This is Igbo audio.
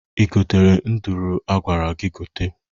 I gotere nduru a gwara gị gote.